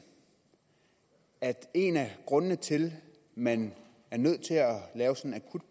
at en af grundene til at man er nødt til